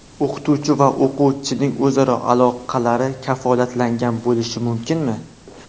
O‘qituvchi va o‘quvchining o‘zaro aloqalari kafolatlangan bo‘lishi mumkinmi?